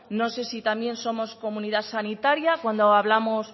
no sé si también somos comunidad sanitaria cuando hablamos